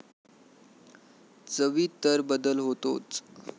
चवीत तर बदल होतोच.